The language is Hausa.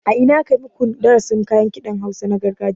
A ina aka maku darasin kayan kiɗan hausa na gargajiya